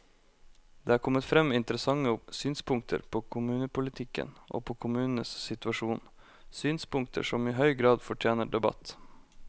Det er kommet frem interessante synspunkter på kommunepolitikken og på kommunenes situasjon, synspunkter som i høy grad fortjener debatt.